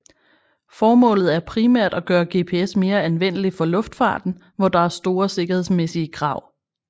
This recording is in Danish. Formålet er primært at gøre GPS mere anvendeligt for luftfarten hvor der er store sikkerhedsmæssige krav